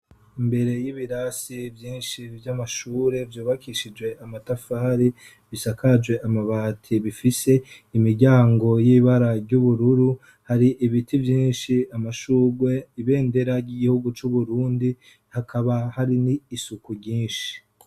Imbere y'ibirasi vyinshi vy'amashure vyubakishijwe amatafari, bisakajwe amabati bifise imiryango y'ibara ry'ubururu, hari ibiti vyinshi, amashurwe, ibendera ry'igihugu c'Uburundi, hakaba hari n'isuku ryinshi.